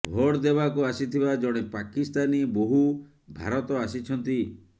vote ଦେବାକୁ ଆସିଥିବା ଜଣେ ପାକିସ୍ତାନୀ ବୋହୂ ଭାରତ ଆସିଛନ୍ତି